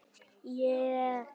Þarf að fara að læra það.